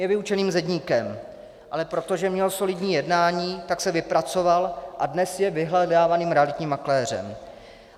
Je vyučeným zedníkem, ale protože měl solidní jednání, tak se vypracoval a dnes je vyhledávaným realitním makléřem.